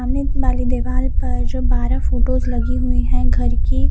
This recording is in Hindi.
सामने वाली दिवार पर जो बारा फोटोज लगी हुई है घर की--